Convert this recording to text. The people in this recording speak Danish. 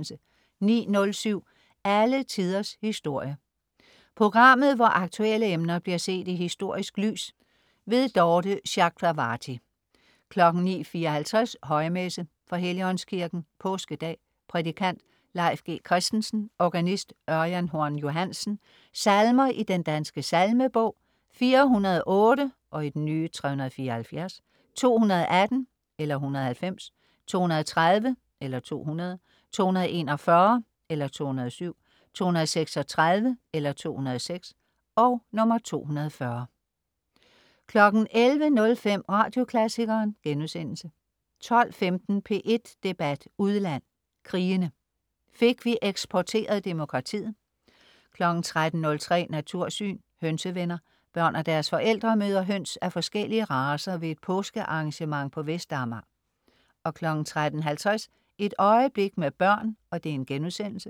09.07 Alle Tiders Historie. Programmet hvor aktuelle emner bliver set i historisk lys. Dorthe Chakravarty 09.54 Højmesse . fra Helligåndskirken (Påskedag). Prædikant: Leif G. Christensen. Organist: Ørjan Horn Johansen. Salmer i Den Danske Salmebog: 408 (374). 218 (190). 230 (200). 241 (207). 236 (206). 240 11.05 Radioklassikeren* 12.15 P1 Debat udland: Krigene. Fik vi eksporteret demokratiet? 13.03 Natursyn. Hønsevenner. Børn og deres forældre møder høns af forskellige racer ved et påske-arrangement på Vestamager 13.50 Et øjeblik med børn*